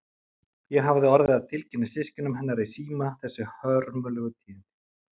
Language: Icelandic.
Ég hafði orðið að tilkynna systkinum hennar í síma þessi hörmulegu tíðindi.